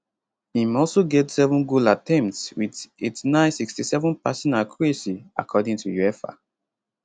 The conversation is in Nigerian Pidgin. im also get 7 goal attempts wit 8967 passing accuracy according to uefa